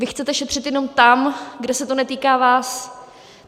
Vy chcete šetřit jenom tam, kde se to netýká vás.